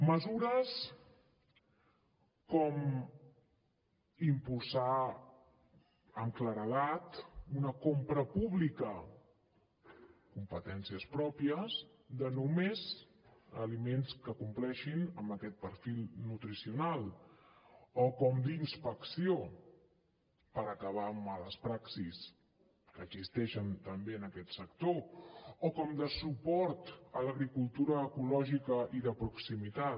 mesures com impulsar amb claredat una compra pública competències pròpies només d’aliments que compleixin amb aquest perfil nutricional o com d’inspecció per acabar amb males praxis que existeixen també en aquest sector o com de suport a l’agricultura ecològica i de proximitat